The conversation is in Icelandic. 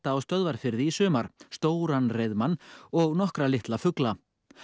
á Stöðvarfirði í sumar stóran og nokkra litla fugla